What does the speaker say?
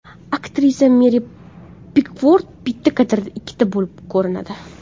Aktrisa Meri Pikford bitta kadrda ikkita bo‘lib ko‘rinadi.